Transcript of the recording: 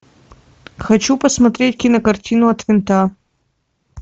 хочу посмотреть кинокартину от винта